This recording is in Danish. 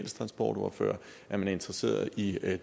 transportordfører at man er interesseret i at